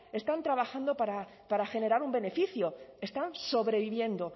están trabajando para generar un beneficio están sobreviviendo